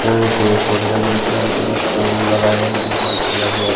हरे हरे पेड़ पौधे लगे दिखाई दे फुल उल लगाए गए --